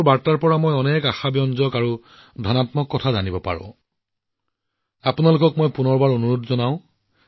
আশা আৰু ইতিবাচকতাৰ সৈতে জড়িত শ শ কাহিনীয়ে আপোনালোকৰ বাৰ্তা মোৰ ওচৰলৈ আহি থাকে